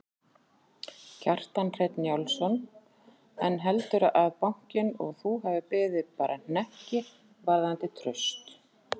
Kjartan Hreinn Njálsson: En heldurðu að bankinn og þú hafi beðið bara hnekki varðandi traust?